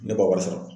Ne b'o wari sɔrɔ